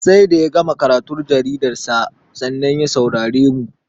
Sai da ya gama karatun jaridarsa, sannan ya saurare mu.